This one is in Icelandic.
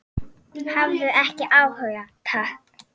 Hafði ekki áhuga, takk.